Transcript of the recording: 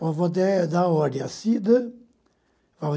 Vou até dar ordem à Cida.